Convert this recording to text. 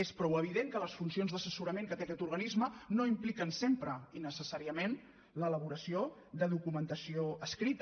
és prou evident que les funcions d’assessorament que té aquest organisme no impliquen sempre i necessàriament l’elaboració de documentació escrita